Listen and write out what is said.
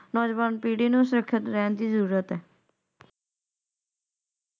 ਨੌਜਵਾਨ ਪੀੜੀ ਨੂੰ ਸੁਰੱਖਿਤ ਰਹਿਣ ਦੀ ਜ਼ਰੂਰਤ ਹੈ ।